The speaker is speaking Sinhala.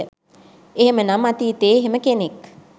එහෙමනම් අතීතෙ එහෙම කෙනෙක්